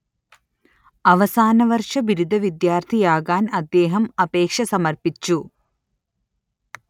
അവസാനവർഷ ബിരുദ വിദ്യാർത്ഥിയാകാൻ അദ്ദേഹം അപേക്ഷ സമർപ്പിച്ചു